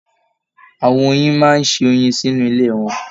Àwọn oyin máa n se oyin sínú ilé wọn.